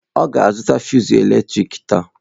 Ọ ga-azụta fụsụ eletrik taa.